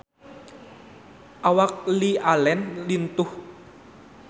Awak Lily Allen lintuh